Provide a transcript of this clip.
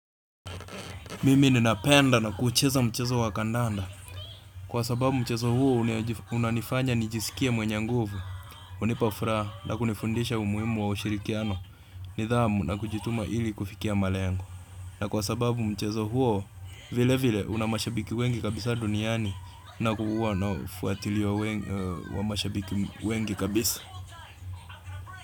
Mimi ninapenda na kuucheza mchezo wakandanda, kwa sababu mchezo huo unanifanya nijisikia mwenye nguvu hunipa furaja na kunifundisha umuhimu wa ushirikiano nidhamu na kujituma ili kufikia malengo na kwa sababu mchezo huo vile vile una mashabiki wengi kabisa duniani na kuwa wanaofuatiliya mashabiki wengi kabisa.